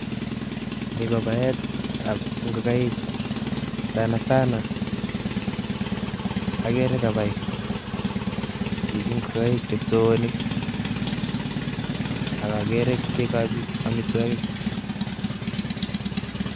Ni kobaetab ng'okaik. Sana sana, agere kabai chichi ng'okaik che kipsoonik. Akagere kekochi amitwogik